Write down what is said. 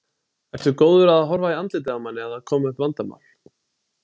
Ertu góður að horfa í andlitið á manni ef það koma upp vandamál?